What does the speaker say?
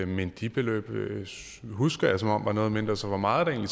men de beløb husker jeg som noget mindre så hvor meget er